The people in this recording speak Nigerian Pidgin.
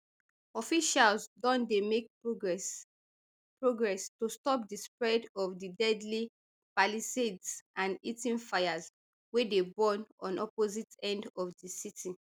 officials don dey make progress progress to stop di spread of di deadly palisades and eaton fires wey dey burn on opposite end of di city